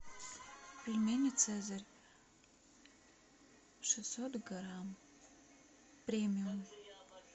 пельмени цезарь шестьсот грамм премиум